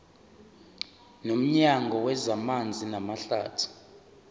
nomnyango wezamanzi namahlathi